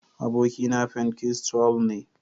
abokina pentikostal ne.